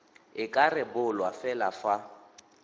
e ka rebolwa fela fa